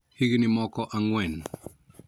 Higni moko ang`wen